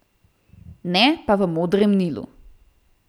Ne pa v Modrem Nilu.